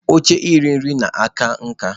Oche iri nri na-aka nká.